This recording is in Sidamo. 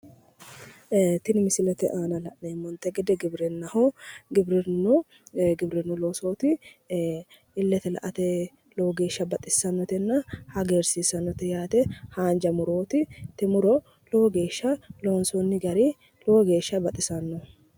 Tinni misilete aanna la'neemoti gede giwirinnaho giwirinu loosooti illete la'ate lowogeesha baxissanotenna hagiirsissanote yaate haanja murooti tinni muro lowogeesha loonsoono gari lowo geeshsha baxissano.